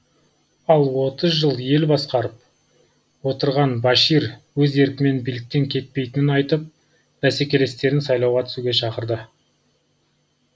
ал отыз жыл ел басқарып отырған башир өз еркімен биліктен кетпейтінін айтып бәсекелестерін сайлауға түсуге шақырды